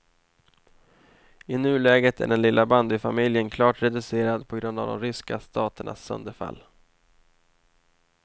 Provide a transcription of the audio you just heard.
I nuläget är den lilla bandyfamiljen klart reducerad på grund av de ryska staternas sönderfall.